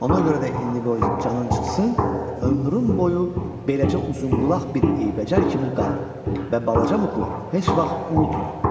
Ona görə də indi qoy canın çıxsın, ömrün boyu beləcə uzunqulaq bir eybəcər kimi qal və balaca Muk heç vaxt unutma.